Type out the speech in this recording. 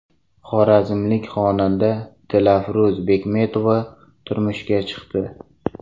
Xorazmlik xonanda Dilafruz Bekmetova turmushga chiqdi.